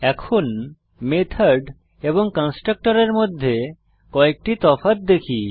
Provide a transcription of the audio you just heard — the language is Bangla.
এখন মেথড এবং কনস্ট্রাক্টরের মধ্যে কয়েকটি তফাৎ দেখি